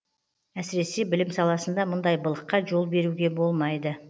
әсіресе білім саласында мұндай былыққа жол беруге болмайды